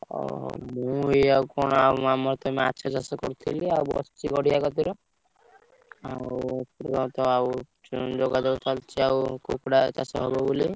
ଓହୋ ମୁ ଏଇଆ କଣ ଆମର ତ ମାଛ ଚାଷ କରିଥିଲୁ ଆଉ କୁକୁଡ଼ା ଚାଷ ହବ ବୋଲି।